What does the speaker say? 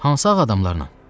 Hansı ağ adamlarla?